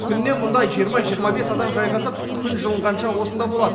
күніне мұнда жиырма жиырма бес адам жайғасып күн жылынғанша осында болады